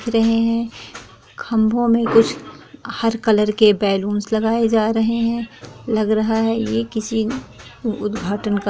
खंभों में कुछ हर कलर के बैलून लगाए जा रहे हैं लग रहा है यह किसी उद्घाटन का समारोह चल रहा है।